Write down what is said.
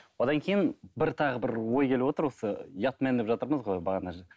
одан кейін бір тағы бір ой келіп отыр осы ұятмен деп жатырмыз ғой